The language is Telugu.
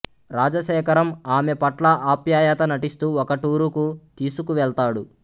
రాజశేఖరం ఆమె పట్ల ఆప్యాయత నటిస్తూ ఒక టూరుకు తీసుకువెళ్తాడు